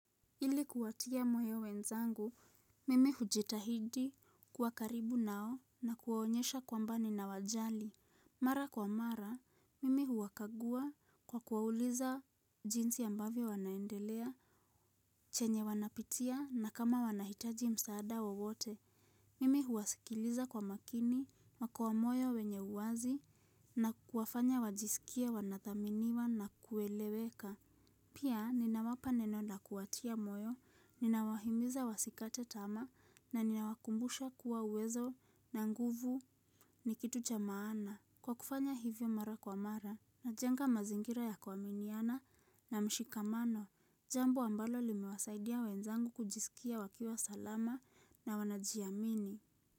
Ili kuwatia moyo wenzangu, mimi hujitahidi kuwa karibu nao na kuwaonyesha kwamba nina wajali. Mara kwa mara, mimi huwakagua kwa kuwauliza jinsi ambavyo wanaendelea, chenye wanapitia na kama wanahitaji msaada wowote. Mimi huwasikiliza kwa makini, na kwa moyo wenye uwazi na kuwafanya wajisikia wanathaminiwa na kueleweka. Pia ninawapa neno na la kuwatia moyo, ninawahimiza wasikate tamaa na ninawakumbusha kuwa uwezo na nguvu ni kitu cha maana. Kwa kufanya hivyo mara kwa mara na jenga mazingira ya kuaminiana na mshikamano, jambo ambalo limewasaidia wenzangu kujisikia wakiwa salama na wanajiamini.